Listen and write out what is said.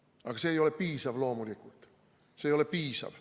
Aga see ei ole piisav, loomulikult ei ole see piisav.